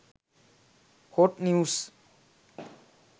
hot news